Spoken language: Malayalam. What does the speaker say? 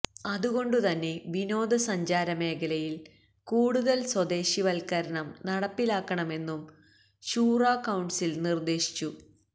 അതുകൊണ്ടുതന്നെ വിനോദ സഞ്ചാര മേഖലയില് കൂടുതല് സ്വദേശിവല്ക്കരണം നടപ്പിലാക്കണമെന്നും ശൂറാ കൌണ്സില് നിര്ദേശിച്ചു